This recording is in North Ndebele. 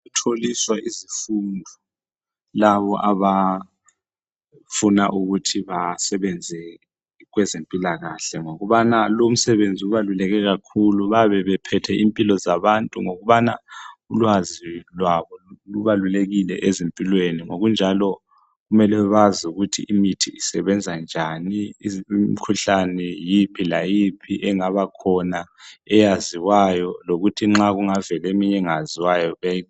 Tholiswa izifundo labo abafuna ukuthi basebenze kwezempilakahle ngokubana lo umsebenzi ubaluleke kakhulu bayabe bephethe impilo zabantu ngokubana ulwazi lwabo lubalulekile ezimpilweni ngokunjalo kumele bazi ukuthi imithi I sebenza njani imikhuhlane yiphi layiphi engaba khona eyaziwayo lokuthi nxa kungavela eminye engaziwayo